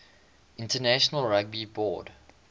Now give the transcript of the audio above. international rugby board